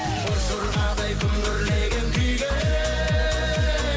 боз жорғадай күмбірлеген күйге